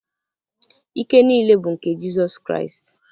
Ike niile bụ nke Jizọs Kraịst.